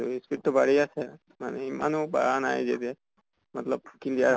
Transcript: এই speed তো বাৰ্ঢ়ি আছে মানে ইমানো বাঢ়া নাই যে এতিয়া hindi clear